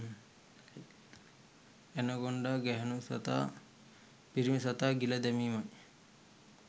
anaconda ගැහැණු සතා පිරිමි සතා ගිල දැමීමයි